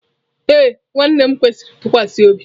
Ee nwanne m kwesiri ntụkwasị obi.